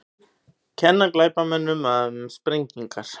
Kenna glæpamönnum um sprengingu